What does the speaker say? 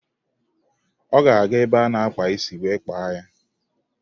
Ọ ga-aga ebe a na-akpa isi wee kpaa ya.